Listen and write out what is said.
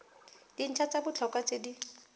dintlha tsa botlhokwa tse di